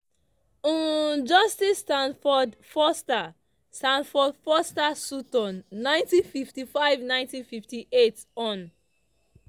um justice stafford foster stafford foster sutton - 1955-1958 hon.